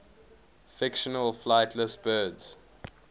fictional flightless birds